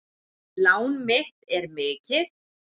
Lán mitt er mikið.